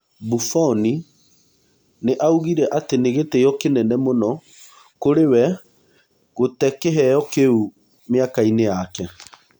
Buboni nĩ augire atĩ nĩ gĩtio kĩnene mũno kũrĩ wee gũte kĩheo kĩu mĩakainĩ yake.